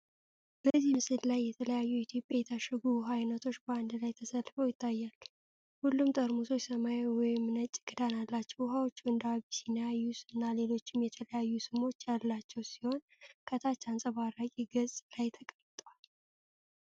በዚህ ምስል ላይ የተለያዩ የኢትዮጵያ የታሸጉ ውሃ ዓይነቶች በአንድ ላይ ተሰልፈው ይታያሉ። ሁሉም ጠርሙሶች ሰማያዊ ወይም ነጭ ክዳን አላቸው። ውሃዎቹ እንደ አቢሲኒያ፣ ዬስ እና ሌሎችም የተለያዩ ስሞች ያሏቸው ሲሆን፣ ከታች አንጸባራቂ ገጽ ላይ ተቀምጠዋል።